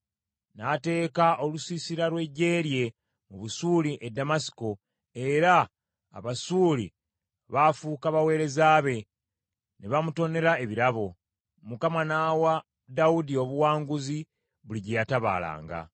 N’ateeka olusiisira lw’eggye lye mu Busuuli e Ddamasiko, era Abasuuli baafuuka baweereza be, ne bamutonera ebirabo. Mukama n’awa Dawudi obuwanguzi buli gye yatabaalanga.